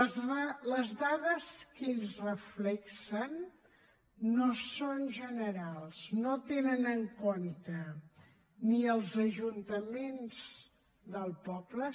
les dades que ells reflecteixen no són generals no tenen en compte ni els ajuntaments del poble